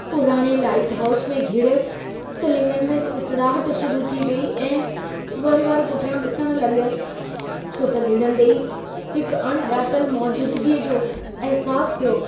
पुराणे lighthouse में घिड़यसि त लिङनि में सिसड़ाहट शुरू थी वेई ऐं वरि-वरि पुठियां डि॒सणु लग॒यसि छो त घिड़ंदे ई हिकु अणिॼातलु मौजूदगीअ जो अहिसास थियो।